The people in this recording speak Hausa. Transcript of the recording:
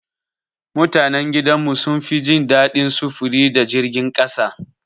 Mutanan gidan mu sun fi jin daɗin sufuri da jirgin ƙasa.